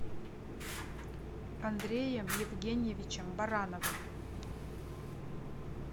андреем евгеньевичем барановым